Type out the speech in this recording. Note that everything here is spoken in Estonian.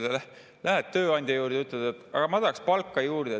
läheb tööandja juurde ja ütleb, et ta tahaks palka juurde.